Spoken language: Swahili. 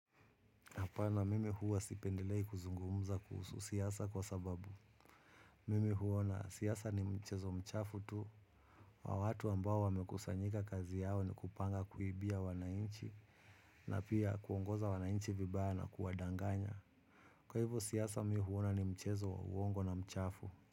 Na hapana mimi huwa sipendelei kuzungumza kuhusu siasa kwa sababu. Mimi huona siasa ni mchezo mchafu tu. Kwa watu ambao wamekusanyika kazi yao ni kupanga kuibia wananchi, na pia kuongoza wananchi vibaya na kuwadanganya. Kwa hivyo siasa mimi huona ni mchezo, uongo na mchafu.